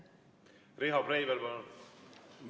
Riho Breivel, palun!